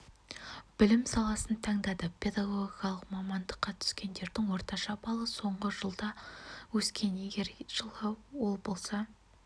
білім саласын таңдады педагогикалық мамандыққа түскендердің орташа балы соңғы жылда өскен егер жылы ол болса